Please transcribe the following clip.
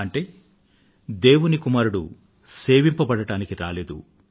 అంటే దేవుని కుమారుడు సేవింపబడటానికి రాలేదు